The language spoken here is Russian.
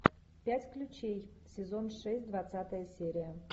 пять ключей сезон шесть двадцатая серия